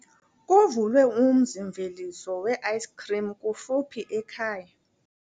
Kuvulwe umzi-mveliso weayisikhrimu kufuphi ekhaya.